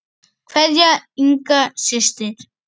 Kveðja, Inga systir.